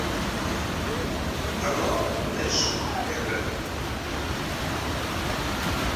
канал нэшнл географик